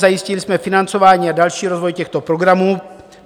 Zajistili jsme financování a další rozvoj těchto programů.